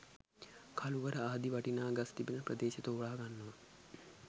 කළුවර ආදී වටිනා ගස් තිබෙන ප්‍රදේශ තෝරා ගන්නවා.